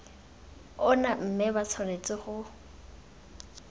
ona mme ba tshwanetse go